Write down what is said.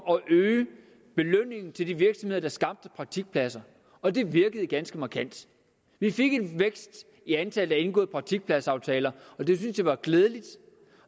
at øge belønningen til de virksomheder der skabte praktikpladser og det virkede ganske markant vi fik en vækst i antallet af indgåede praktikpladsaftaler og det synes jeg var glædeligt